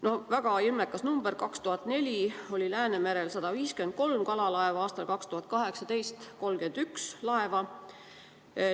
No väga ilmekas number: aastal 2004 oli Läänemerel 153 kalalaeva, aastal 2018 ainult 31 laeva.